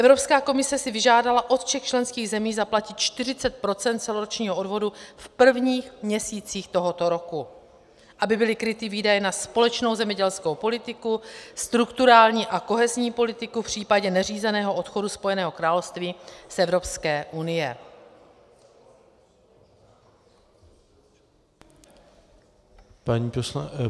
Evropská komise si vyžádala od všech členských zemí zaplatit 40 % celoročního odvodu v prvních měsících tohoto roku, aby byly kryty výdaje na společnou zemědělskou politiku, strukturální a kohezní politiku v případě neřízeného odchodu Spojeného království z Evropské unie.